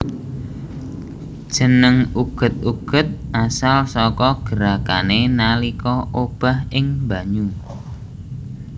Jeneng uget uget asal saka gerakané nalika obah ing banyu